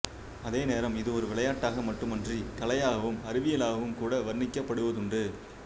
அதேநேரம் இது ஒரு விளையாட்டாக மட்டுமன்றி கலையாகவும் அறிவியலாகவும் கூட வர்ணிக்கப்படுவதுண்டு